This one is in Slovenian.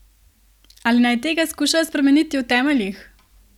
Ali naj tega skušajo spremeniti v temeljih?